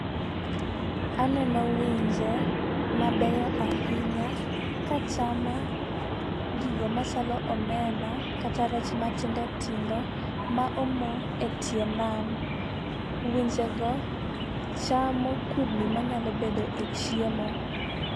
Aneno winje mabeyo ahinya kachamo gigo machalo omena, kata rech matindotindo ma omo e tie nam. Winjego chamo kudni manyalo bedo e chiemo.